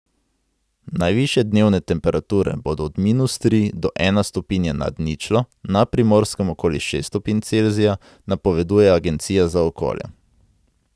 Najvišje dnevne temperature bodo od minus tri do ena stopinja nad ničlo, na Primorskem okoli šest stopinj Celzija, napoveduje Agencija za okolje.